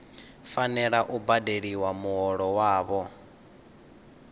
fanela u badeliwa muholo wavho